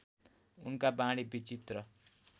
उनका वाणी विचित्र